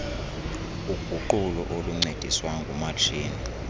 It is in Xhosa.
uguqulo oluncediswa ngumatshini